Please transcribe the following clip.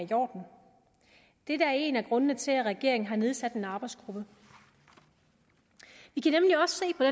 er i en af grundene til at regeringen har nedsat en arbejdsgruppe vi kan